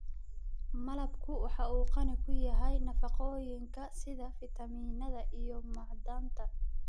Malabku waxa uu qani ku yahay nafaqooyinka sida fiitamiinada iyo macdanta.